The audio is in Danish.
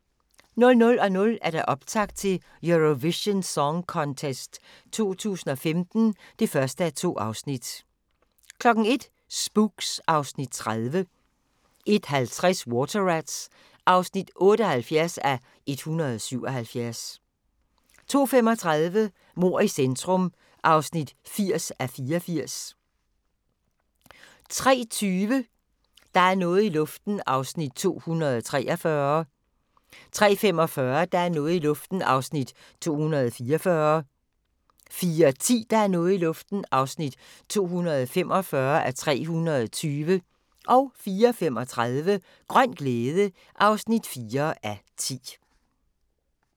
00:00: Optakt til Eurovision Song Contest 2015 (1:2) 01:00: Spooks (Afs. 30) 01:50: Water Rats (78:177) 02:35: Mord i centrum (80:84) 03:20: Der er noget i luften (243:320) 03:45: Der er noget i luften (244:320) 04:10: Der er noget i luften (245:320) 04:35: Grøn glæde (4:10)